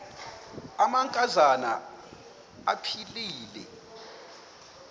amanka zana aphilele